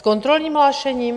S kontrolním hlášením?